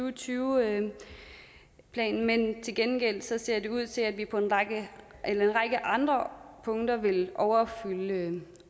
og tyve planen men til gengæld ser det ud til at vi på en række andre punkter vil overopfylde målene